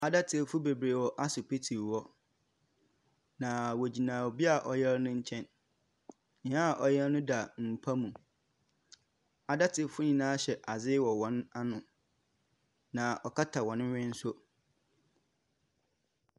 Adɛtefo bebree wɔ asopiti hɔ. Na wogyina obi ɔyar ne nkyɛn. Nea ɔyar no da mpa mu. Adatefo nyinaa hyɛ ade wɔ wɔn ano. Na ɔkata wɔn hwen nso.